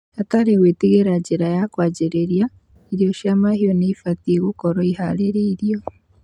Hatarĩ gwĩtigĩra niira ya kwanjĩrĩria, ũrĩo cia mahiũ nĩibatie gũkorwo iharĩrĩiroo